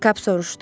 Kap soruşdu.